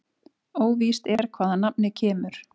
Óvíst er hvaðan nafnið kemur.